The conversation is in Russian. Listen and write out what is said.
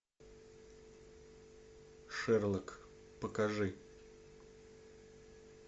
шерлок покажи